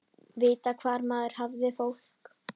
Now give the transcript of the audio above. Vita hvar maður hafði fólk.